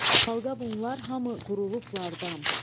Xalqa bunlar hamı qurulublardam.